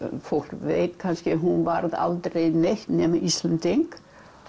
fólk veit kannski hún var aldrei neitt nema Íslendingur